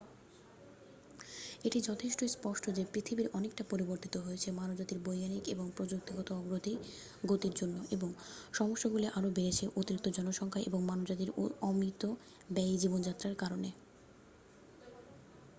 এটি যথেষ্ট স্পষ্ট যে পৃথিবী অনেকটা পরিবর্তিত হয়েছে মানবজাতির বৈজ্ঞানিক এবং প্রযুক্তিগত অগ্রগতির জন্য এবং সমস্যাগুলি আরও বেড়েছে অতিরিক্ত জনসংখ্যা এবং মানবজাতির অমিতব্যয়ী জীবনযাত্রার কারনে